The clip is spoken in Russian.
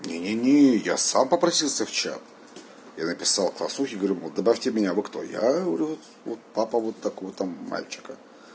не не не я сам попросился в чат я написал классному руководителю говорю мол добавьте меня вы кто я говорю вот папа вот такого-то мальчика